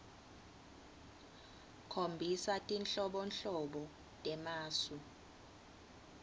khombisa tinhlobonhlobo temasu